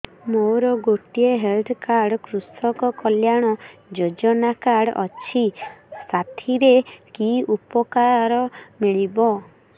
ମୋର ଗୋଟିଏ health card କୃଷକ କଲ୍ୟାଣ ଯୋଜନା କାର୍ଡ ଅଛି ସାଥିରେ କି ଉପକାର ମିଳିବ